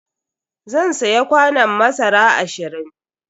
Zan siya kwanon masara ashirin.